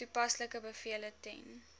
toepaslike bevele ten